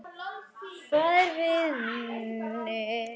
Fær vini